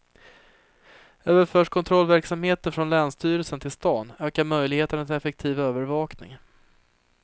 Överförs kontrollverksamheten från länsstyrelsen till staden ökar möjligheterna till en effektiv övervakning.